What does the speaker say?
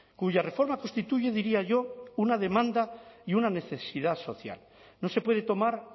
cuya reforma constituye diría yo una demanda y una necesidad social no se puede tomar